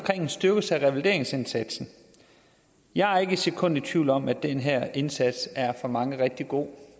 en styrkelse af revalideringsindsatsen jeg er ikke et sekund i tvivl om at den her indsats for mange er rigtig god